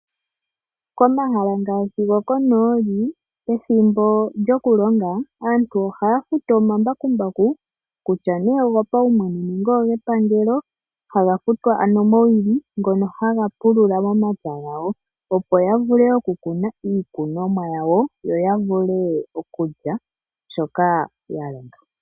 Komahala ngaashi gokonooli pethimbo lyoku longa aantu oha ya futu omambakumbaku kutya nee ogo pawumwene nenge oge pangelo, ha ga futwa ano mowili ngono haga pulula momapya gawo opo ya vule oku kuna mo iikunwa mo yawo, yo ya vule okulya shoka ya longa.